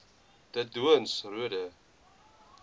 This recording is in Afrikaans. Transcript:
de doorns roode